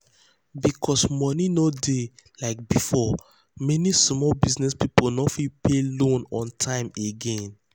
because money no dey like before many small business people no fit pay loan on time again.